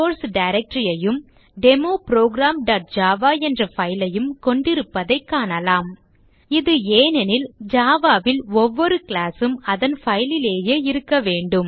source directory ஐயும் demo programஜாவா என்ற file ஐயும் கொண்டிருப்பதை காணலாம் இது ஏனெனில் java ல் ஒவ்வொரு class உம் அதன் file லேயே இருக்க வேண்டும்